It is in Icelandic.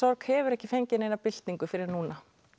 hefur ekki fengið neina byltingu fyrr en núna